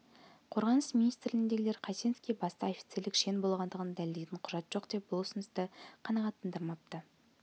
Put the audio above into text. қорғаныс министрлігіндегілер қайсеновке баста офицерлік шен болғандығын дәлелдейтін құжат жоқ деп бұл ұсынысты қанағаттандырмапты